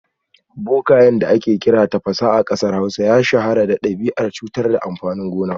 Bokayen da ake kira Tafasa a kasar Hausa ya shahara da dabi’ar cutar da amfanin gona